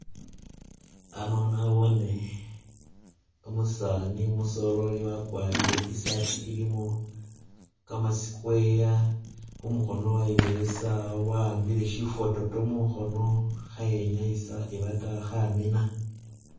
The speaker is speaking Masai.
Ano nabone umusaani umusoleli wakwalire i'sati ilimo kama square, khumukhono wayiboya isawa wa'ambile shifototo mukhono khayenyayisa ebata khamina